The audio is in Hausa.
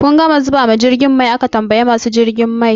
Kun gama zubawa jirgin mai? an tambayi masu zubawa jirgi mai